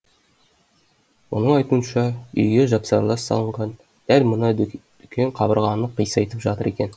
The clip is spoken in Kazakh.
оның айтуынша үйге жапсарлас салынған дәл мына дүкен қабырғаны қисайтып жатыр екен